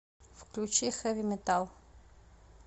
включи хэви метал